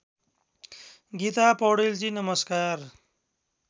गीता पौडेलजी नमस्कार